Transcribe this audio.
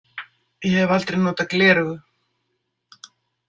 Ég hef aldrei notað gleraugu.